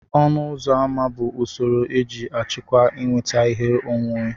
ọnụ ụzọ ámá bụ usoro eji achịkwa ịnweta ihe onwunwe